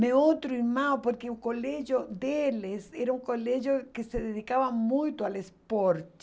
Meu outro irmão, porque o colégio deles era um colégio que se dedicava muito ao esporte.